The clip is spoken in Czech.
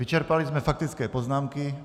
Vyčerpali jsme faktické poznámky.